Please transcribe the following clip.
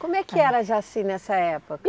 Como é que era Jaci nessa época?